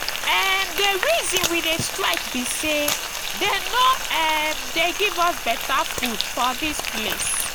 um the reason we dey strike be say dey no um dey give us beta food for dis place